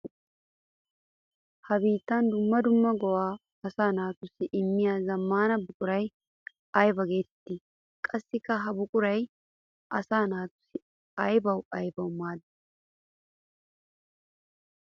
Ha beettiya dumma dumma go'a asaa naatussi immiya zamaana buquray aybba geetetti? Qassikka ha buquray asaa naata aybbawu aybbawu maadi?